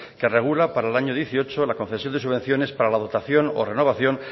que regula para el año dieciocho la concesión de subvenciones para la dotación o renovación